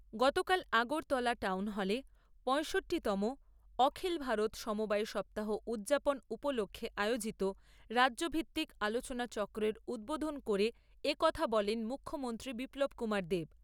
গতকাল আগরতলা টাউন হলে পয়ষট্টিতম অখিল ভারত সমবায় সপ্তাহ উদযাপন উপলক্ষে আয়োজিত রাজ্যভিত্তিক আলোচনাচক্রের উদ্বোধন করে এ কথা বলেন মুখ্যমন্ত্রী বিপ্লব কুমার দেব।